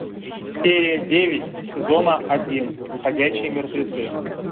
серия девять сезона один ходячие мертвецы